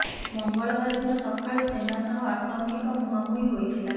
ମଙ୍ଗବାର ଦିନ ସକାଳୁ ସେନା ସହ ଆତଙ୍କୀଙ୍କ ମୁଁହାମୁଁହି ହୋଇଥିଲା